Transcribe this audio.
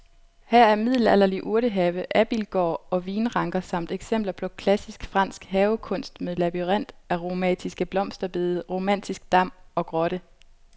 Her er middelalderlig urtehave, abildgård og vinranker samt eksempler på klassisk fransk havekunst med labyrint, aromatiske blomsterbede, romantisk dam og grotte.